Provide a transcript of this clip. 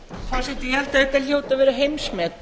hljóti að vera heimsmet